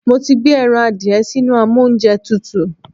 Mo ti gbé ẹran adìẹ sínú amóúnjẹtutù.